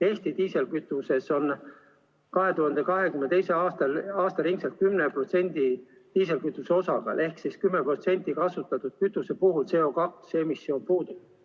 Eesti diislikütuses on 2022. aastaks aasta ringi biokütuse osakaal 10% ehk siis 10% kütuse puhul CO2 emissioon puudub.